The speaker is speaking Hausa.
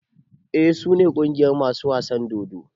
Eh su ne ƙungiyar masu wasan dodo.